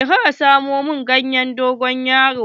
Je ka samo min ganyen dogon yaro.